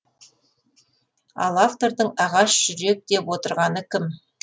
ал автордың ағаш жүрек деп отырғаны кім